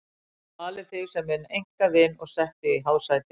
Ég hef valið þig sem minn einkavin og sett þig í hásæti.